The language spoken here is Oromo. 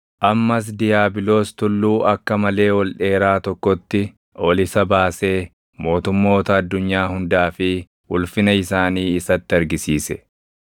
Ammas diiyaabiloos tulluu akka malee ol dheeraa tokkotti ol isa baasee mootummoota addunyaa hundaa fi ulfina isaanii isatti argisiise.